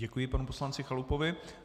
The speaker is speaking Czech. Děkuji panu poslanci Chalupovi.